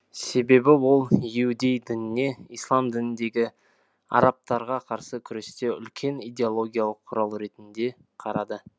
себебі ол иудей дініне ислам дініндегі арабтарға қарсы күресте үлкен идеологиялық құрал ретінде қарады